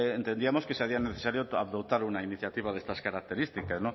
pues entendíamos que se hacía necesario adoptar una iniciativa de estas características